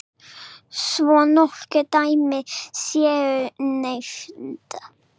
Svo nokkur dæmi séu nefnd.